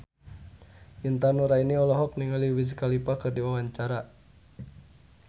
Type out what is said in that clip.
Intan Nuraini olohok ningali Wiz Khalifa keur diwawancara